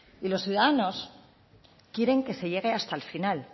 y los ciudadanos quieren que se llegue hasta el final